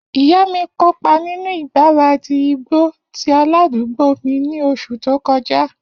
Iya mi kopa ninu igbaradi igbo ti aladugbo mi ni oṣu to kọja.